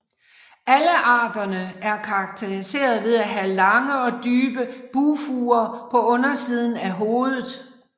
Alle arterne er karakteriseret ved at have lange og dybe bugfurer på undersiden af hovedet